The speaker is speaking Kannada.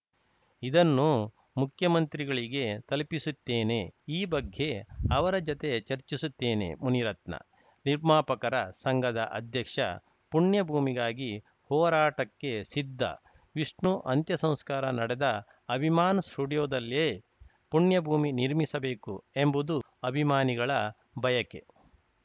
ಇದನ್ನು ಮುಖ್ಯಮಂತ್ರಿಗಳಿಗೆ ತಲುಪಿಸುತ್ತೇನೆ ಈ ಬಗ್ಗೆ ಅವರ ಜತೆ ಚರ್ಚಿಸುತ್ತೇನೆ ಮುನಿರತ್ನ ನಿರ್ಮಾಪಕರ ಸಂಘದ ಅಧ್ಯಕ್ಷ ಪುಣ್ಯಭೂಮಿಗಾಗಿ ಹೋರಾಟಕ್ಕೆ ಸಿದ್ಧ ವಿಷ್ಣು ಅಂತ್ಯಸಂಸ್ಕಾರ ನಡೆದ ಅಭಿಮಾನ್‌ ಸ್ಟುಡಿಯೋದಲ್ಲೇ ಪುಣ್ಯಭೂಮಿ ನಿರ್ಮಿಸಬೇಕು ಎಂಬುದು ಅಭಿಮಾನಿಗಳ ಬಯಕೆ